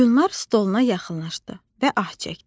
Gülnar stoluna yaxınlaşdı və ah çəkdi.